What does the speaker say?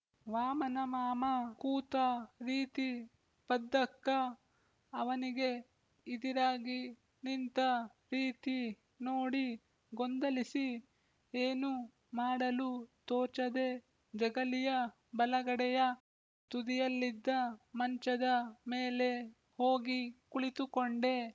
ವಾಮನಮಾಮ ಕೂತ ರೀತಿಪದ್ದಕ್ಕ ಅವನಿಗೆ ಇದಿರಾಗಿ ನಿಂತ ರೀತಿ ನೋಡಿ ಗೊಂದಲಿಸಿ ಏನು ಮಾಡಲೂ ತೋಚದೇ ಜಗಲಿಯ ಬಲಗಡೆಯ ತುದಿಯಲ್ಲಿದ್ದ ಮಂಚದ ಮೇಲೆ ಹೋಗಿ ಕುಳಿತುಕೊಂಡೆ